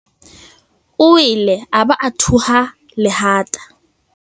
O wele a ba a thuha lehata.